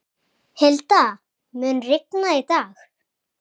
Hilda, mun rigna í dag?